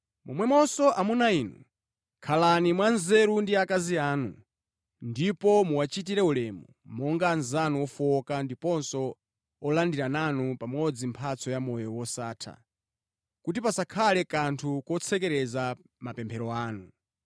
Momwemonso amuna inu, khalani mwanzeru ndi akazi anu, ndipo muwachitire ulemu monga anzanu ofowoka ndiponso olandira nanu pamodzi mphatso ya moyo wosatha, kuti pasakhale kanthu kotsekereza mapemphero anu.